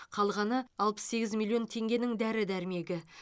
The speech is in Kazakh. қалғаны алпыс сегіз миллион теңгенің дәрі дәрмегі